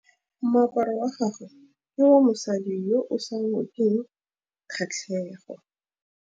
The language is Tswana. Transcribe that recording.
Moaparô wa gagwe ke wa mosadi yo o sa ngôkeng kgatlhegô.